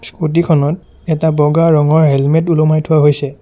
Scooty খনত এটা বগা ৰঙৰ হেলমেত ওলোমাই থোৱা হৈছে।